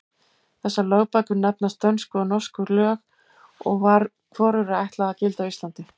Þessar lögbækur nefnast Dönsku og Norsku lög og var hvorugri ætlað að gilda á Íslandi.